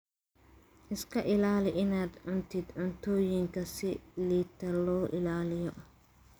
Iska ilaali inaad cuntid cuntooyinka si liidata loo ilaaliyo.